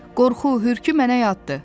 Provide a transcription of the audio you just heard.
Qorxu, hürkü mənə yaddır.